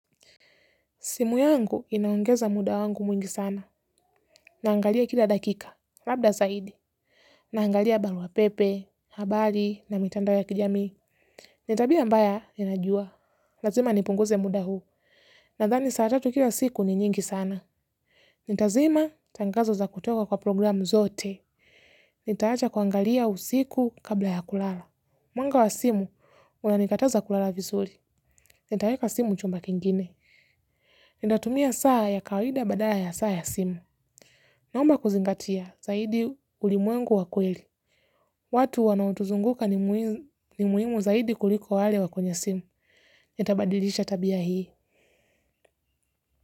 Simu yangu inaongeza muda wangu mwingi sana, naangalia kila dakika, labda zaidi, naangalia barua pepe, habari, na mitandao ya kijami. Ni tabia mbaya ninajua, lazima nipunguze muda huu, nadhani saa tatu kila siku ni nyingi sana. Nitazima tangazo za kutoka kwa programu zote, nitaacha kuangalia usiku kabla ya kulala. Mwanga wa simu, unanikataza kulala vizuri, nitaweka simu chumba kingine. Nitatumia saa ya kawaida badala ya saa ya simu. Naomba kuzingatia zaidi ulimwengu wa kweli. Watu wanaotuzunguka ni muhimu zaidi kuliko wale wa kwenye simu. Nitabadilisha tabia hii.